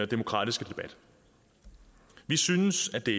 demokratiske debat vi synes at det